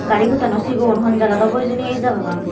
gari pottano sigon hon jagat obo hijeni ei jagagan.